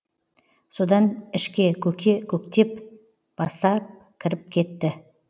содан ішке көке көктеп баса кіріп кетті